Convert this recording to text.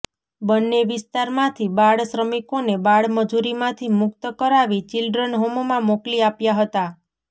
બંને વિસ્તારમાંથી બાળશ્રમિકોને બાળમજૂરીમાંથી મુક્ત કરાવી ચિલ્ડ્રન હોમમાં મોકલી આપ્યા હતા